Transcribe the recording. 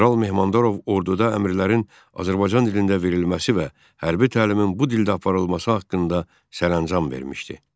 General Mehmandarov orduda əmrlərin Azərbaycan dilində verilməsi və hərbi təlimin bu dildə aparılması haqqında sərəncam vermişdi.